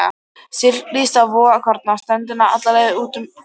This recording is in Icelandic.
Trékyllisvík og vogskorna ströndina, alla leið út á Gjögur.